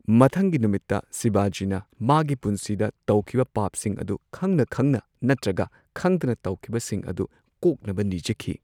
ꯃꯊꯪꯒꯤ ꯅꯨꯃꯤꯠꯇ ꯁꯤꯕꯥꯖꯤꯅ ꯃꯥꯒꯤ ꯄꯨꯟꯁꯤꯗ ꯇꯧꯈꯤꯕ ꯄꯥꯞꯁꯤꯡ ꯑꯗꯨ ꯈꯪꯅ ꯈꯪꯅ ꯅꯠꯇ꯭ꯔꯒ ꯈꯪꯗꯅ ꯇꯧꯈꯤꯕ ꯁꯤꯡ ꯑꯗꯨ ꯀꯣꯛꯅꯕ ꯅꯤꯖꯈꯤ꯫